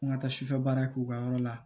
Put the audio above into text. An ka taa sufɛ baara kɛ u ka yɔrɔ la